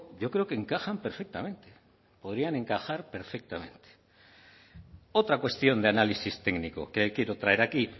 yo creo que encajan perfectamente podrían encajar perfectamente otra cuestión de análisis técnico que quiero traer aquí